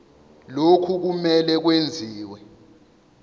lokhu kumele kwenziwe